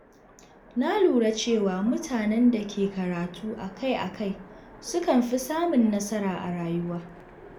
Na lura cewa mutanen da ke karatu akai-akai sukan fi samun nasara a rayuwa.